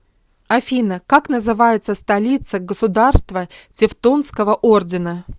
афина как называется столица государство тевтонского ордена